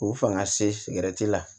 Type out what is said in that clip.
O fanga se sigɛrɛti la